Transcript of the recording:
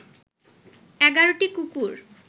১১টি কুকুর